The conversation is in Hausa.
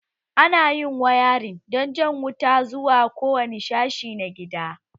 Ana yin wayarin dan jan wuta zuwa kowane sashe na gida